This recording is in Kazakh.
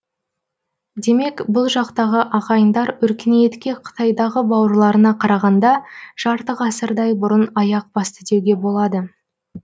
демек бұл жақтағы ағайындар өркениетке қытайдағы бауырларына қарағанда жарты ғасырдай бұрын аяқ басты деуге болады